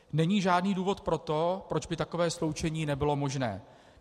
Není žádný důvod pro to, proč by takové sloučení nebylo možné.